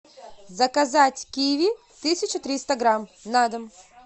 заказать киви тысяча триста грамм на дом